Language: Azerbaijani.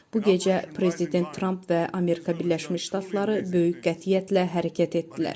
Bu gecə Prezident Tramp və Amerika Birləşmiş Ştatları böyük qətiyyətlə hərəkət etdilər.